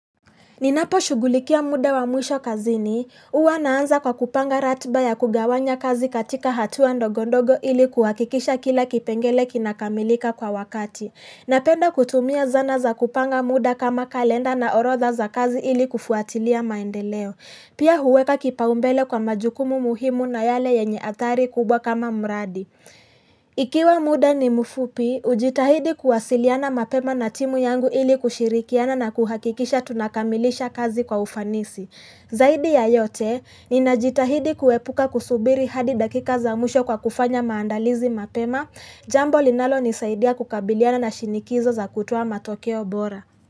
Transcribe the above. Ninaposhughulikia muda wa mwisho kazini, huwa naanza kwa kupanga ratiba ya kugawanya kazi katika hatuwa ndogondogo ili kuhakikisha kila kipengele kinakamilika kwa wakati. Napenda kutumia zana za kupanga muda kama kalenda na orotha za kazi ili kufuatilia maendeleo. Pia huweka kipaumbele kwa majukumu muhimu na yale yenye athari kubwa kama mradi. Ikiwa muda ni mfupi, hujitahidi kuwasiliana mapema na timu yangu ili kushirikiana na kuhakikisha tunakamilisha kazi kwa ufanisi Zaidi ya yote, ninajitahidi kuepuka kusubiri hadi dakika za mwisho kwa kufanya maandalizi mapema Jambo linalonisaidia kukabiliana na shinikizo za kutoa matokeo bora.